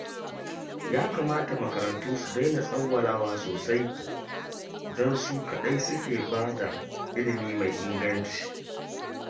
Ya kamata makarantu su daina tsawwalawa sosai, don su kaɗai suke ba da ilimi mai inganci